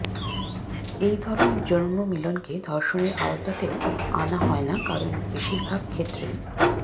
এই ধরণের যৌনমিলনকে ধর্ষণের আওতাতেও আনা হয় না কারণ বেশিরভাগ ক্ষেত্রেই